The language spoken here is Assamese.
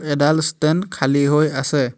এডাল ষ্টেণ্ড খালী হৈ আছে।